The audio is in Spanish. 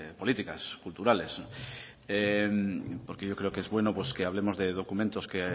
políticas culturales porque yo creo que es bueno que hablemos de documentos que